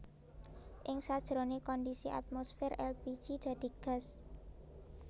Ing sajroné kondisi atmosfer èlpiji dadi gas